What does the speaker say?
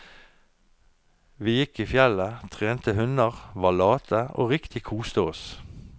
Vi gikk i fjellet, trena hunder, var late, og riktig kosa oss.